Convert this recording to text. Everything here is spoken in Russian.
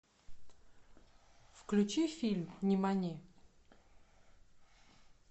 включи фильм нимани